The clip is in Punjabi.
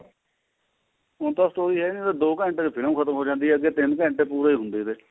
ਹੁਣ ਤਾਂ story ਹੈ ਓ ਨੀ ਹੁਣ ਤਾਂ ਦੋ ਘੰਟੇ ਚ ਫਿਲਮ ਪੂਰੀ ਹੋ ਜਾਂਦੀ ਹੈ ਅੱਗੇ ਤਿੰਨ ਘੰਟੇ ਪੂਰੇ ਹੁੰਦੇ ਤੇ